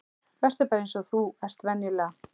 Vertu bara eins og þú ert venjulega.